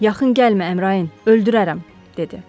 Yaxın gəlmə, Əmrayın, öldürərəm, dedi.